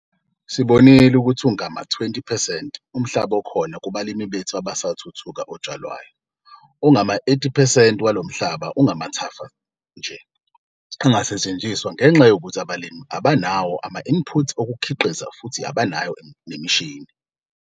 Sibonile ukuthi ungama-20 percent umhlaba okhona kubalimi bethu abasathuthuka otshalwayo - ongama-80 percent walo mhlaba ungamathafa nje angasetshenziswa ngenxa yokuthi abalimi abanawo ama-input okukhiqiza futhi abanayo nemishini.